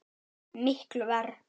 Miklu verr.